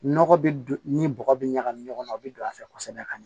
Nɔgɔ bɛ ni bɔgɔ bɛ ɲagami ɲɔgɔn na o bɛ don a fɛ kosɛbɛ ka ɲɛ